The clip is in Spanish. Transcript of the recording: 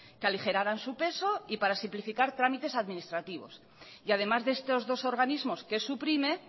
que aligeraran su peso y para simplificar trámites administrativos y además de estos dos organismos que suprime